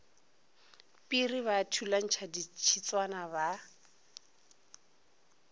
piri ba thulantšha ditshitswana ba